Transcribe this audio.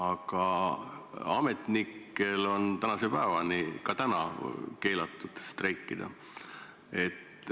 Aga ametnikel on ka praegu keelatud streikida.